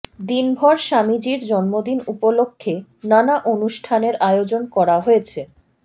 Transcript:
দিনভর স্বামীজির জন্মদিন উপলক্ষে নানা অনুষ্ঠানের আয়োজন করা হয়েছে